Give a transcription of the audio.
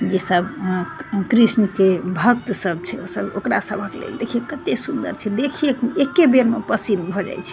जेई सब कृष्ण के भक्त सब छै ओ सब ओकरा सभे के लेल देखी कते सुंदर छै देखीये के एके बेर में पसीज भ जाय छै।